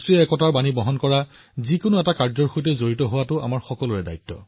একতাৰ বাৰ্তা প্ৰদান কৰা কিছুমান কাৰ্যসূচীৰ সৈতে জড়িত হোৱাটো আমাৰ সকলোৰে দায়িত্ব